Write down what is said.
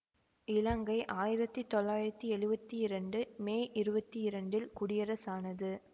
இலங்கை ஆயிரத்தி தொள்ளாயிரத்தி எழுவத்தி இரண்டு மே இருவத்தி இரண்டில் குடியரசானது